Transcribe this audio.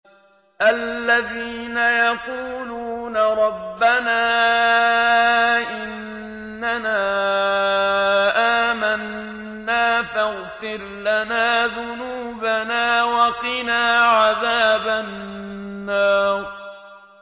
الَّذِينَ يَقُولُونَ رَبَّنَا إِنَّنَا آمَنَّا فَاغْفِرْ لَنَا ذُنُوبَنَا وَقِنَا عَذَابَ النَّارِ